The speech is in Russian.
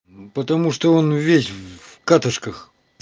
потому что он весь в катышках